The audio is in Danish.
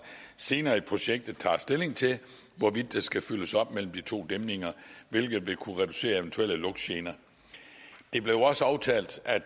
senere i projektet tager stilling til hvorvidt der skal fyldes op mellem de to dæmninger hvilket vil kunne reducere eventuelle lugtgener det blev også aftalt at